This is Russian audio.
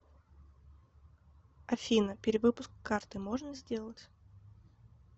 афина перевыпуск карты можно сделать